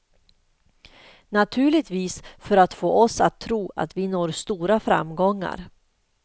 Naturligtvis för att få oss att tro att vi når stora framgångar.